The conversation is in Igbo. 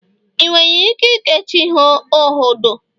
ị nwere ike keechi ihe oghodo?